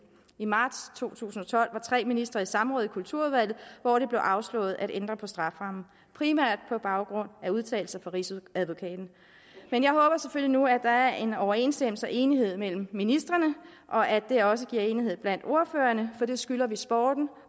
i marts to tusind og tolv var tre ministre i samråd i kulturudvalget hvor det blev afslået at ændre på strafferammen primært på baggrund af udtalelser fra rigsadvokaten men jeg håber selvfølgelig nu at der er en overensstemmelse og enighed mellem ministrene og at det også giver enighed blandt ordførerne for det skylder vi sporten